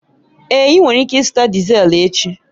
Èé, ị nwere ike ịzụta Dizel echi